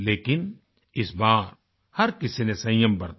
लेकिन इस बार हर किसी नें संयम बरता